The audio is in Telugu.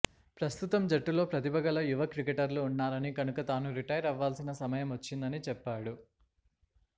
ప్రస్తుతం జట్టులో ప్రతిభగల యువ క్రికెటర్లు ఉన్నారని కనుక తాను రిటైరవ్వాల్సిన సమయమొచ్చిందని చెప్పాడు